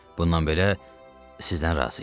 Bundan belə sizdən razıyam.